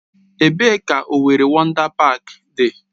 Ebee ka Owerri Wọndá Páák dị?